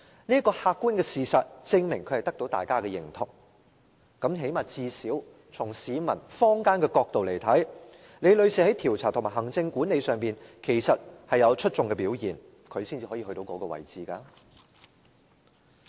這個客觀事實證明她得到大家的認同，最低限度，從市民和坊間角度看來，李女士在調查和行政管理上其實有出眾的表現，才能做到那個位置。